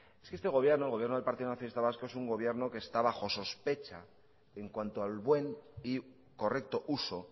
es que este gobierno el gobierno de partido nacionalista vasco es un gobierno que está bajo sospecha en cuanto al buen y correcto uso